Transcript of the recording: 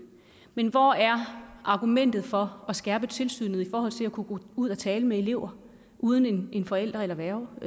men hvor er argumentet for at skærpe tilsynet i forhold til at kunne gå ud at tale med elever uden en forældre værge